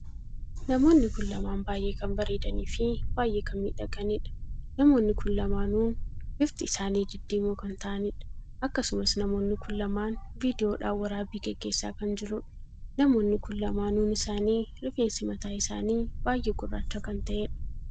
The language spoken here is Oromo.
Namoonni kun lamaan baay'ee kan bareedanii fi baay'ee kan miidhaganiidha. namoonni kun lamaanuun bifti isaanii diddiimoo kan ta'aniidha. akkasumas namoonni kun lamaan viidiyoodhaan waraabbii geggeessa kan jiruudha. namoonni kun lamaanuun isaanii rifeensi mataa isaanii baay'ee gurraacha kan taheedha.